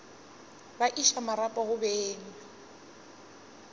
ba iša marapo go beng